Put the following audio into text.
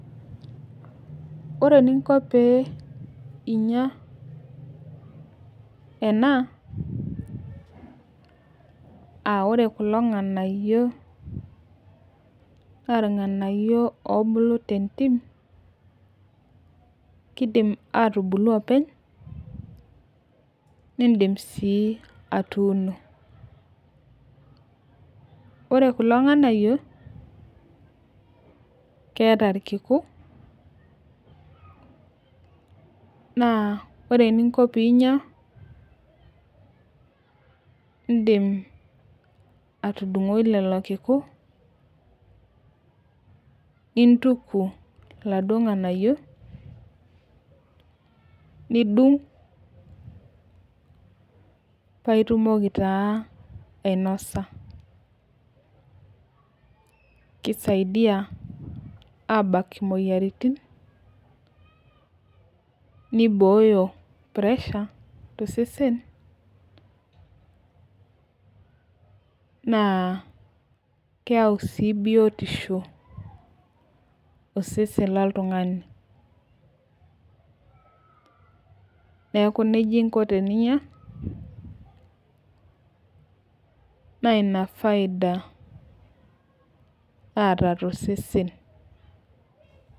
Ore eninko pee inyia ena, aa ore kulo nganayio naa irnganayio oobulu tentim, nidim sii atuuno. ore kulo nganayio keeta irkiku, naa ore eninko pee inyia, idim atudungoi lelo kiku, nintuki iladuoo nganayio nidung. paa itumoki taa ianosa. kisaidia aabak imoyiaritin, neibooyo pressure tosesen. naa keyau sii biotisho osesen loltungani. neeku nejia inko teninyia. naa Ina faida naata tosesen.